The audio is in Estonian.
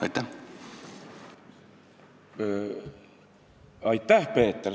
Aitäh, Peeter!